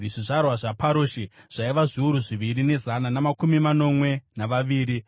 zvizvarwa zvaParoshi zvaiva zviuru zviviri nezana namakumi manomwe navaviri;